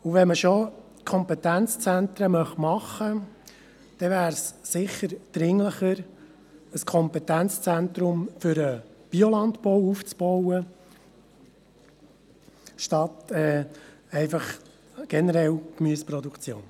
Wenn man schon Kompetenzzentren schaffen will, wäre es sicher dringlicher, ein Kompetenzzentrum für den Biolandbau aufzubauen, anstatt generell für die Gemüseproduktion.